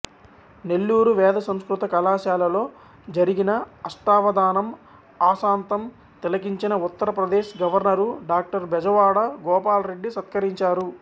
నెల్లూరు వేద సంస్కృత కళాశాలలో జరిగిన అష్టావధానం ఆసాంతం తిలకించిన ఉత్తర ప్రదేశ్ గవర్నరు డా బెజవాడ గోపాలరెడ్డి సత్కరించారు